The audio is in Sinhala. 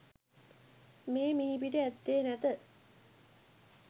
මේ මිහිපිට ඇත්තේ නැත.